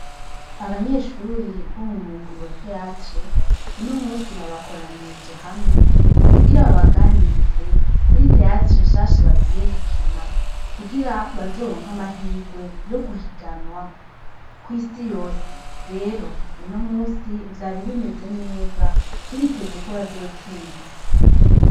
Abanyeshuri bo mu mugwi wa teyatre uno musi babakoranirije hamwe kugira babaganirize kuri teyatre nshasha bagiye gukina kugira bazoronka amahirwe yo guhiganwa ko'isi yose rero uno musi vyari bimeze neza turitezekoa azotsinda.